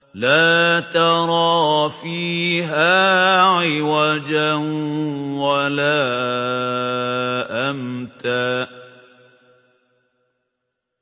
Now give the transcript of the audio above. لَّا تَرَىٰ فِيهَا عِوَجًا وَلَا أَمْتًا